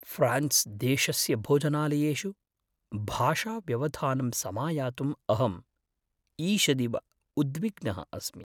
France देशस्य भोजनालयेषु भाषाव्यवधानं समायातुं अहं ईषदिव उद्विग्नः अस्मि।